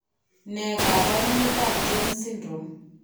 Ne kaabarunetap Jones syndrome?